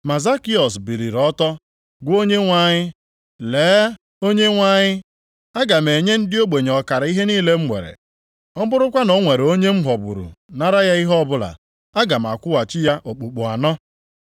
Ma Zakịọs biliri ọtọ gwa Onyenwe anyị, “Lee, Onyenwe anyị, aga m enye ndị ogbenye ọkara ihe niile m nwere. Ọ bụrụkwa na o nwere onye m ghọgburu nara ya ihe ọbụla, aga m akwụghachi ya okpukpu anọ.”